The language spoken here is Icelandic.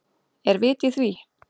Er vit í því?